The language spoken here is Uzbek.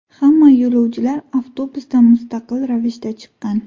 Hamma yo‘lovchilar avtobusdan mustaqil ravishda chiqqan.